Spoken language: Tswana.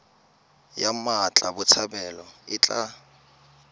ya mmatla botshabelo e tla